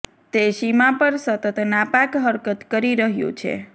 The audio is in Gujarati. તે સીમા પર સતત નાપાક હરકત કરી રહ્યું છે